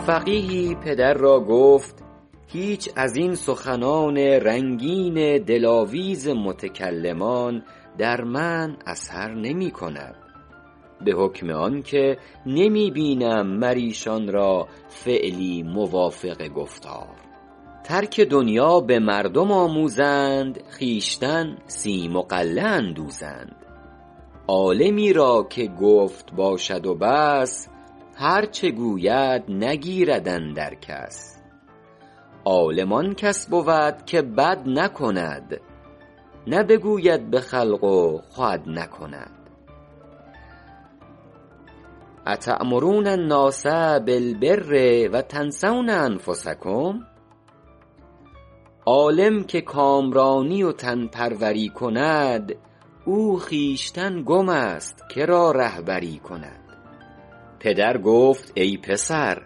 فقیهی پدر را گفت هیچ از این سخنان رنگین دلاویز متکلمان در من اثر نمی کند به حکم آن که نمی بینم مر ایشان را فعلی موافق گفتار ترک دنیا به مردم آموزند خویشتن سیم و غله اندوزند عالمی را که گفت باشد و بس هر چه گوید نگیرد اندر کس عالم آن کس بود که بد نکند نه بگوید به خلق و خود نکند اتأمرون الناس بالبر و تنسون انفسکم عالم که کامرانی و تن پروری کند او خویشتن گم است که را رهبری کند پدر گفت ای پسر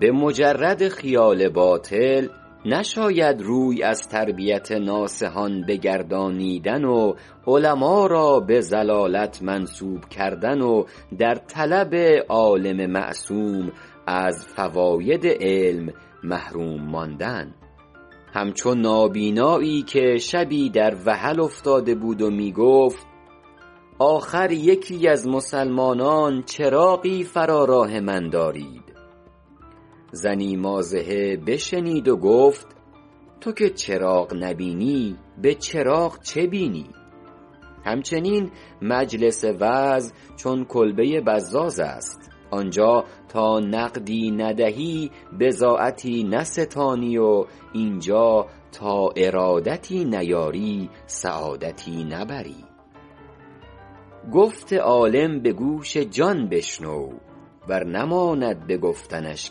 به مجرد خیال باطل نشاید روی از تربیت ناصحان بگردانیدن و علما را به ضلالت منسوب کردن و در طلب عالم معصوم از فواید علم محروم ماندن همچو نابینایی که شبی در وحل افتاده بود و می گفت آخر یکی از مسلمانان چراغی فرا راه من دارید زنی مازحه بشنید و گفت تو که چراغ نبینی به چراغ چه بینی همچنین مجلس وعظ چو کلبه بزاز است آنجا تا نقدی ندهی بضاعتی نستانی و اینجا تا ارادتی نیاری سعادتی نبری گفت عالم به گوش جان بشنو ور نماند به گفتنش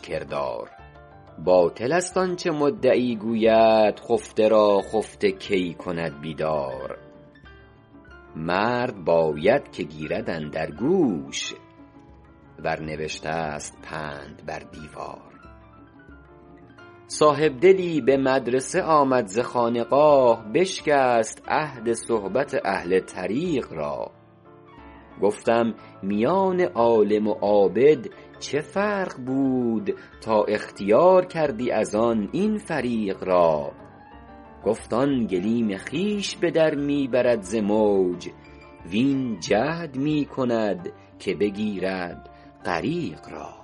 کردار باطل است آنچه مدعی گوید خفته را خفته کی کند بیدار مرد باید که گیرد اندر گوش ور نوشته است پند بر دیوار صاحبدلی به مدرسه آمد ز خانقاه بشکست عهد صحبت اهل طریق را گفتم میان عالم و عابد چه فرق بود تا اختیار کردی از آن این فریق را گفت آن گلیم خویش به در می برد ز موج وین جهد می کند که بگیرد غریق را